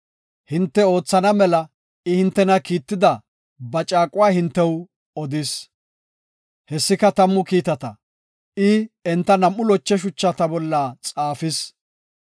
Hinte oothana mela I hintena kiitida ba caaquwa hintew odis; hessika Tammu Kiitata. I enta nam7u loche shuchata bolla xaafis.